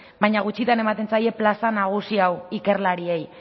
baina gutxitan ematen zaie plaza nagusi hau ikerlariei